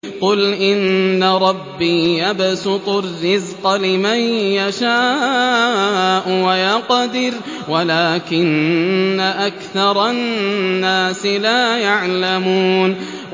قُلْ إِنَّ رَبِّي يَبْسُطُ الرِّزْقَ لِمَن يَشَاءُ وَيَقْدِرُ وَلَٰكِنَّ أَكْثَرَ النَّاسِ لَا يَعْلَمُونَ